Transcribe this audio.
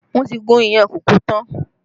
Wọn ti gún iyán kókò tán